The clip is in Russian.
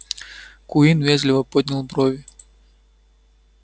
куинн вежливо поднял брови